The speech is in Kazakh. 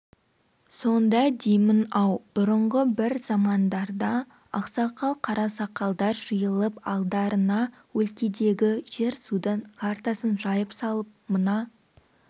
сонда деймін-ау бұрынғы бір замандарда ақсақал қарасақалдар жиылып алдарына өлкедегі жер-судың картасын жайып салып мына